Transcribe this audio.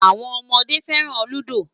Awọn ọmọde fẹran Ludo